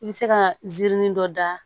I bɛ se ka zirin dɔ da